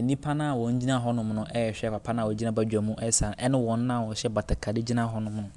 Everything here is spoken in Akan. Nnipa a wɔgyina hɔ no rehwa papa no a ɔgyina hɔ resa ne wɔn a wɔhyɛ batakari gyina hɔnom no.